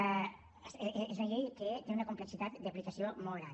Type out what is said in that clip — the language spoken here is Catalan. és una llei que té una complexitat d’aplicació molt gran